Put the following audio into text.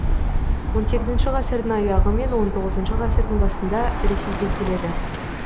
он сегіізінші ғасырдың аяғы мен он тоғызыншы ғасырдың басында ресейге келеді